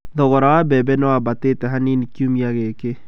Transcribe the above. Thogora wa mbembe nĩ wambatĩtĩ hanini kiumia gĩkĩ.